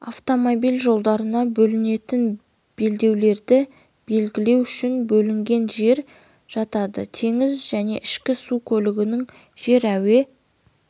автомобиль жолдарына бөлінетін белдеулерді белгілеу үшін бөлінген жері жатады теңіз және ішкі су көлігінің жер әуе